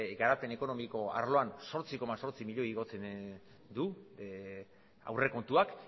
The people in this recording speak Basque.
garapen ekonomiko arloan zortzi koma zortzi milioi igotzen du aurrekontuak